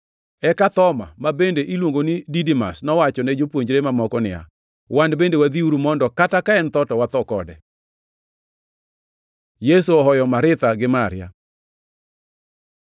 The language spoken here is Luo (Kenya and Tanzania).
Eka Thoma, ma bende iluongo ni Didimas, nowachone jopuonjre mamoko niya, “Wan bende wadhiuru mondo kata ka en tho, to watho kode.” Yesu ohoyo Maritha gi Maria